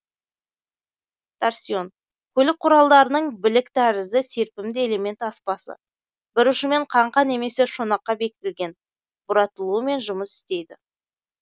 торсион көлік құралдарының білік тәрізді серпімді элемент аспасы бір ұшымен қаңқа немесе шонақка бекітілген бұратылумен жұмыс істейді